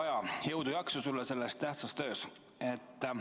Hea Kaja, jõudu-jaksu sulle selles tähtsas töös!